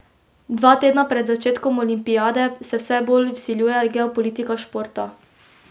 Dva tedna pred začetkom olimpijade se vse bolj vsiljuje geopolitika športa.